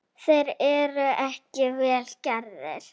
Þeir eru ekki vel gerðir.